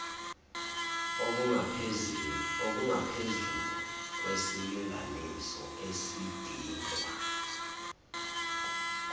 okungaphezulu kwesilinganiso esidingwa